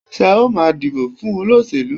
Ṣé o ma dìbò fún olóṣèlú?